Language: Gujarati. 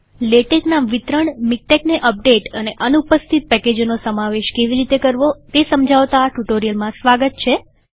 લેટેકના વિતરણમીક્ટેકને અપડેટ અને અનુપસ્થિત પેકેજોનો સમાવેશ કેવી રીતે કરવો તે સમજાવતા આ ટ્યુ્ટોરીઅલમાં સ્વાગત છે